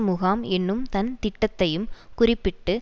முகாம் என்னும் தன் திட்டத்தையும் குறிப்பிட்டு